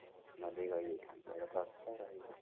ନହେଲେ ଯାଇକି ରହିଯାଇଥାନ୍ତି ଇଆଡେ ତ ଅଛି ରହିବି କଣ